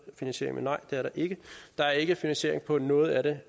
finansiering men nej det er der ikke der er ikke finansiering på noget af det